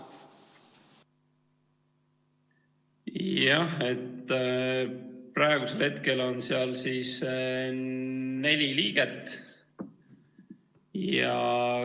Jah, praegu on seal neli liiget.